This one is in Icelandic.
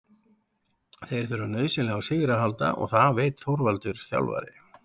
Þeir þurfa nauðsynlega á sigri að halda og það veit Þorvaldur þjálfari.